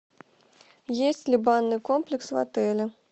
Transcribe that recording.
есть ли банный комплекс в отеле